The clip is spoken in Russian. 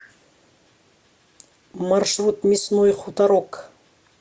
маршрут мясной хуторок